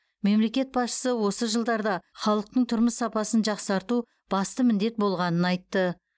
мемлекет басшысы осы жылдарда халықтың тұрмыс сапасын жақсарту басты міндет болғанын айтты